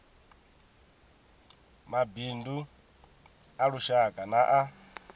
mabindu a lushaka na a